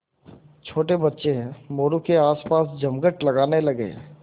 छोटे बच्चे मोरू के आसपास जमघट लगाने लगे